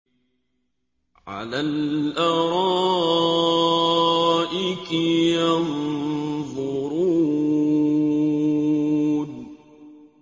عَلَى الْأَرَائِكِ يَنظُرُونَ